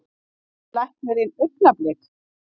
Heitir tannlæknirinn Augnablik?